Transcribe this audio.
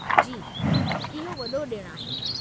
जी, इहो वॾो ॾिणु आहे।